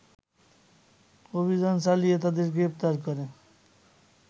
অভিযান চালিয়ে তাদের গ্রেপ্তার করে